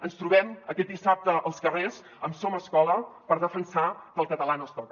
ens trobem aquest dissabte als carrers amb som escola per defensar que el català no es toca